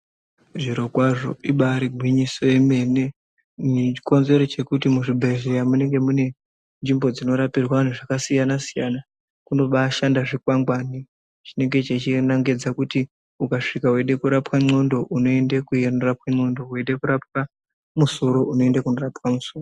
Zvirokwazvo ibari gwinyiso yomene chikonzero chekuti muzvibhedhlera munenge munenge nzvimbo dzinorapirwa vantu zvakasiyana siyana kunobashanda zvikwangwani chinenge chechinengedza kuti ukasvika weide kurapwa ndxondo unoende kuendera kwendxondo, weida kurapwa musoro unoenda kunorapwa musoro.